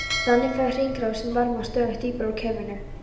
Þannig fær hringrásin varma stöðugt dýpra úr kerfinu.